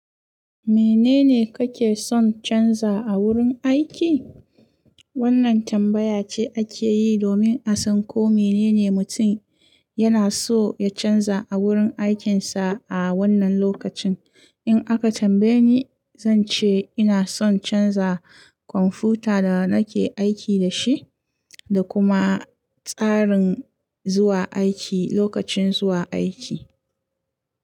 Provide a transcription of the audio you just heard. Menene kake son canza a wurin aiki? Wannan tambaya ce ake yi domin a san ko menene mutum yana so ya canza a wurin aikinsa a wannan lokacin. In aka tambaye ni, zan ce ina son canza kwamfuta da nake aiki da shi da kuma tsarin zuwa aiki lokacin zuwa aiki.